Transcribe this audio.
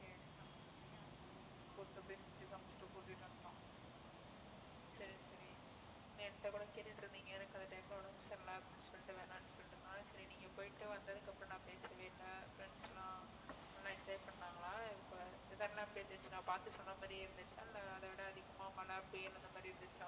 என் கிட்ட கூட கேட்டுட்டு இருந்தீங்க எனக்கு அந்த time ல உடம்பு சரியில்லை அப்படின்னு சொல்லிட்டு வேணாம்னு சொல்லிட்டு இருந்தான் சரி நீங்க போயிட்டு வந்ததுக்கு அப்புறம் நான் பேசவே இல்லை friends எல்லாம் நல்லா enjoy பண்ணாங்களாம் weather எல்லாம் எப்படி இருந்துச்சு நான் பார்த்து சொன்ன மாதிரியே இருந்துச்சா இல்லை அதைவிட அதிகமா மழை புயல் அந்த மாதிரி இருந்துச்சா